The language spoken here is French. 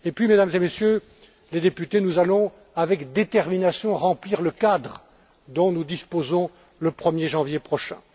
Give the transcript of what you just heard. Et puis, Mesdames et Messieurs les députés, nous allons, avec détermination, remplir le cadre dont nous disposerons le 1er janvier prochain.